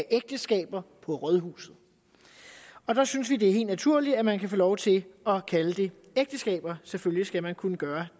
ægteskaber på rådhuset og der synes vi det er helt naturligt at man kan få lov til at kalde det ægteskaber selvfølgelig skal man kunne gøre